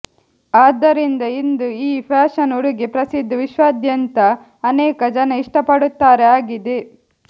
ಆದ್ದರಿಂದ ಇಂದು ಈ ಫ್ಯಾಷನ್ ಉಡುಗೆ ಪ್ರಸಿದ್ಧ ವಿಶ್ವಾದ್ಯಂತ ಅನೇಕ ಜನ ಇಷ್ಟಪಡುತ್ತಾರೆ ಆಗಿದೆ